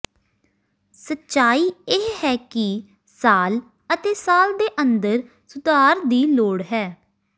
ਸੱਚਾਈ ਇਹ ਹੈ ਕਿ ਸਾਲ ਅਤੇ ਸਾਲ ਦੇ ਅੰਦਰ ਸੁਧਾਰ ਦੀ ਲੋੜ ਹੈ